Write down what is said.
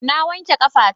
Na wake ƙafa ta.